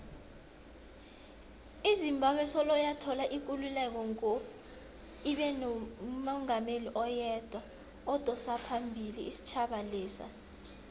izimbabwe soloyathola ikululeko ngo ibenomungameli oyedwa odosaphambili isitjhaba lesa